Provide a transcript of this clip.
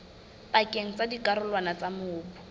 pakeng tsa dikarolwana tsa mobu